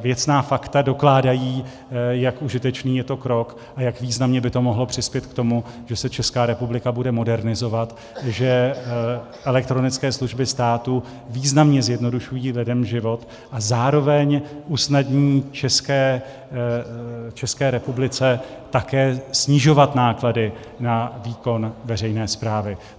věcná fakta dokládají, jak užitečný je to krok a jak významně by to mohlo přispět k tomu, že se Česká republika bude modernizovat, že elektronické služby státu významně zjednodušují lidem život, a zároveň usnadňují České republice také snižovat náklady na výkon veřejné správy.